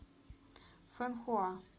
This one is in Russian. фэнхуа